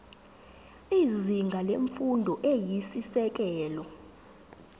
izinga lemfundo eyisisekelo